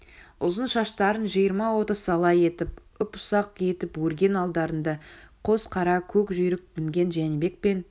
ұзын шаштарын жиырма-отыз сала етіп ұп-ұсақ етіп өрген алдарында қос қара көк жүйрік мінген жәнібек пен